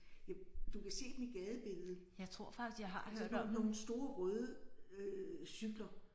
Ja du kan se dem i gadebilledet. Altså nogle nogle store røde øh cykler